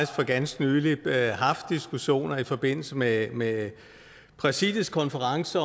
for ganske nylig haft diskussioner i forbindelse med med præsidiets konference